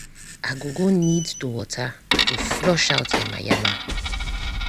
i go go need to water to flush out yamayama.